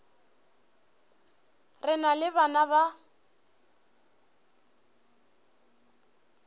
re na le bana ba